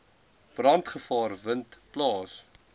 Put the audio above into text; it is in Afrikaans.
brandgevaar vind plaas